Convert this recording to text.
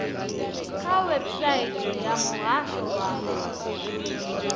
kha website ya muhasho wa